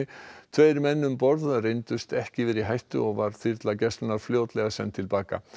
tveir menn um borð reyndust ekki vera í hættu og var þyrla gæslunnar fljótlega send til baka